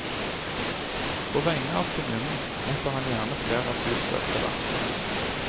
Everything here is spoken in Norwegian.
På vegne av kommunen mottar han gjerne flere asylsøkere.